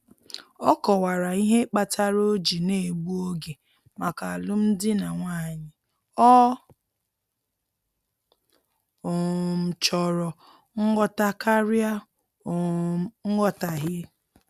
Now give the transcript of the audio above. Ọ kọwara ihe kpatara o ji na-egbu oge maka alụm di na nwanyị, ọ um chọrọ nghọta karịa um nghọtahie